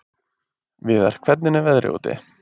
Viðar, hvernig er veðrið úti?